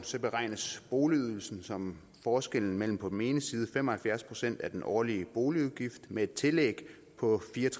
beregnes boligydelsen som forskellen mellem på den ene side fem og halvfjerds procent af den årlige boligudgift med et tillæg på